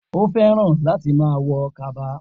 O fẹ́ràn láti má a wọ Kaba